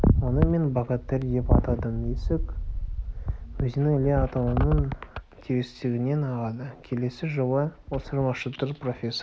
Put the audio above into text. оны мен богатырь деп атадым есік өзені іле алатауының терістігінен ағады келесі жылы осы маршрутты профессор